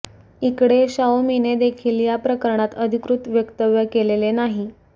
इकडे शाओमीने देखील या प्रकरणात अधिकृत वक्तव्य केलेले नाही